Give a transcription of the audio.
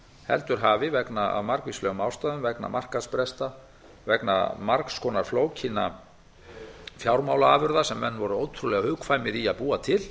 heldur hafi af margvíslegum ástæðum vegna markaðsbresta vegna margs konar flókinna fjármálaafurða sem menn voru ótrúlega hugkvæmir í að búa til